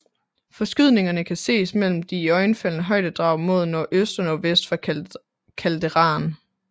Forskydningerne kan ses mellem de iøjnefaldende højdedrag mod nordøst og nordvest fra calderaen